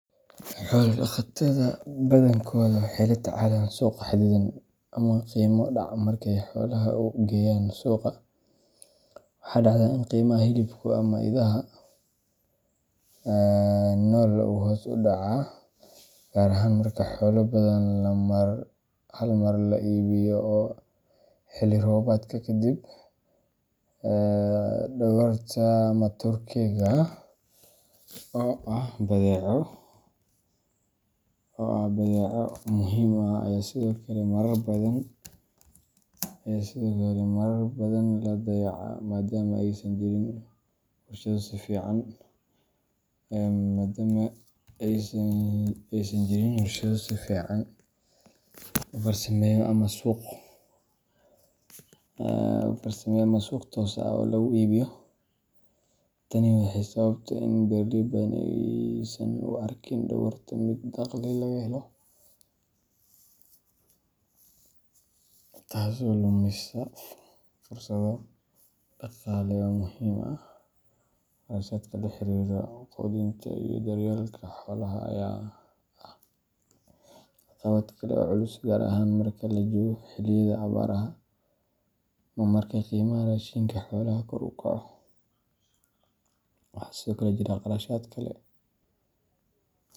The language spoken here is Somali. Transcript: Xoolo-dhaqatada badankooda waxay la tacaalaan suuq xadidan ama qiimo dhac markay xoolaha u geeyaan suuqa. Waxaa dhacda in qiimaha hilibka ama idaha nool uu hoos u dhaco, gaar ahaan marka xoolo badan hal mar la iibinayo xilli roobaadka kadib. Dhogorta ama turkiga oo ah badeeco muhiim ah ayaa sidoo kale marar badan la dayacaa maadaama aysan jirin warshado si fiican u farsameeya ama suuq toos ah oo lagu iibiyo. Tani waxay sababtaa in beeraley badan aysan u arkin dhogorta mid dakhli laga helo, taasoo lumisa fursado dhaqaale oo muhiim ah. Kharashaadka la xiriira quudinta iyo daryeelka xoolaha ayaa ah caqabad kale oo culus, gaar ahaan marka la joogo xilliyada abaaraha ama marka qiimaha raashinka xoolaha kor u kaco. Waxaa sidoo kale jira kharashaad kale.